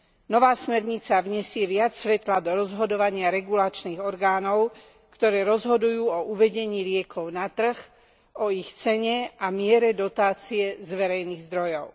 Nová smernica vnesie viac svetla do rozhodovania regulačných orgánov, ktoré rozhodujú o uvedení liekov na trh, o ich cene a miere dotácie z verejných zdrojov.